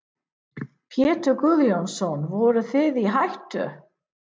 Pétur Guðjónsson: Voruð þið í hættu?